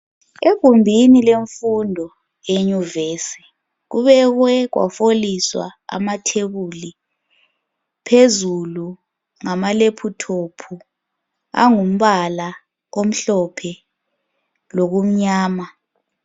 egumbini lemfundo yenyuvesi kubekwe kwaholiswa amatebuli phezulu ngama laptop angumbala omhlophe lokumnyama